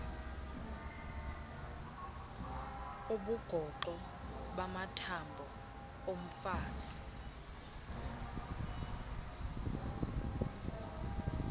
ubugoxo bamathambo omfazi